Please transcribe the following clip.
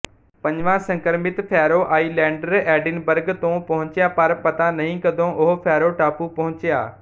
ਪੰਜਵਾਂ ਸੰਕਰਮਿਤ Faroe Islander Edinburgh ਤੋਂ ਪਹੁੰਚਿਆ ਪਰ ਪਤਾ ਨਹੀਂ ਕਦੋਂ ਉਹ ਫੈਰੋ ਟਾਪੂ ਪਹੁੰਚਿਆ